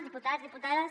diputats diputades